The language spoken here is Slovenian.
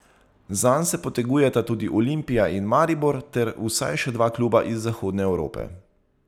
Zanj se potegujeta tudi Olimpija in Maribor ter vsaj še dva kluba iz zahodne Evrope.